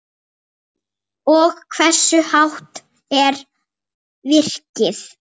Og hversu hátt er virkið?